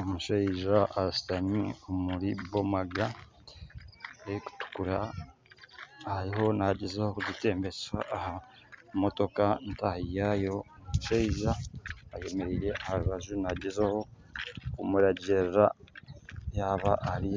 Omushaija ashutami omuri bomaga erikutukura ariho nagyezaho kugitembesa aha motoka ntahi yaayo omushaija ayemereire aha rubaju nagyezaho kumuragirira yaaba Ari